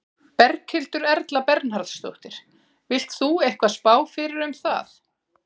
Berghildur Erla Bernharðsdóttir: Vilt þú eitthvað spá fyrir um það?